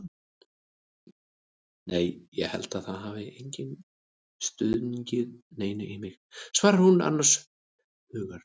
Nei ég held að það hafi enginn stungið neinu í mig, svarar hún annars hugar.